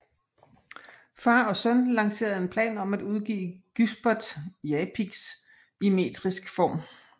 Far og søn lancerede en plan om at udgive Gysbert Japicx i metrisk form